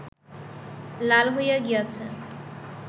লাল হইয়া গিয়াছে